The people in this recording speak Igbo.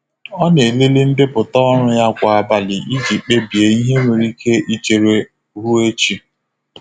Ọ na-elele ndepụta ọrụ ya kwa abalị iji kpebie ihe nwere ike ichere ruo echi.